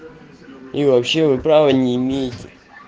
и вообще вы права не имеете